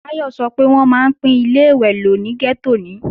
Táyọ̀ sọ pé wọ́n máa ń pín Ilé-ìwẹ̀ lò ní gẹ́tò ni